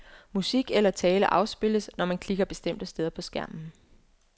Musik eller tale afspilles, når man klikker bestemte steder på skærmen.